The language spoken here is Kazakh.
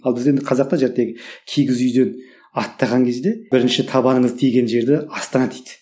ал енді бізде қазақта кигіз үйден аттаған кезде бірінші табаныңыз тиген жерді астана дейді